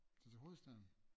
Tage til hovedstaden?